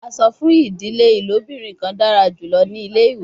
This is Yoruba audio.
A sọ fun idile ilobirin kan dara julọ ni ile-iwe